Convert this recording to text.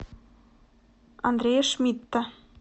андрея шмидта